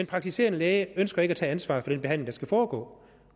praktiserende læge ønsker ikke at tage ansvaret for den behandling der skal foregå